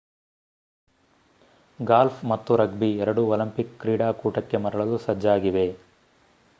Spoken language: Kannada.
ಗಾಲ್ಫ್ ಮತ್ತು ರಗ್ಬಿ ಎರಡೂ ಒಲಿಂಪಿಕ್ ಕ್ರೀಡಾಕೂಟಕ್ಕೆ ಮರಳಲು ಸಜ್ಜಾಗಿವೆ